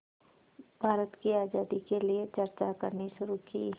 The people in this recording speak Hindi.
भारत की आज़ादी के लिए चर्चा करनी शुरू की